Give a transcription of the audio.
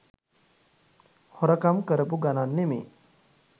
හොරකම් කරපු ගණන් නෙමේ.